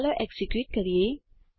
ચાલો એકઝીક્યુટ કરીએ